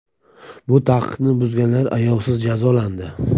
Bu taqiqni buzganlar ayovsiz jazolandi.